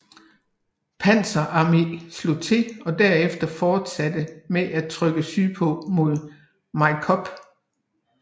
Panzer Arme slog til og derefter fortsatte med at rykke sydpå mod Majkop